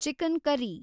chicken curry